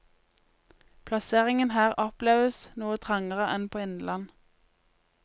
Plasseringen her oppleves noe trangere enn på innland.